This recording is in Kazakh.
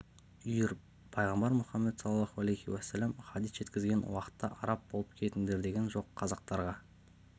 үйір пайғамбар мұхаммед саллаллаху алейхи уәссәлам хадис жеткізген уақытта араб болып кетіңдер деген жоқ қазақтарға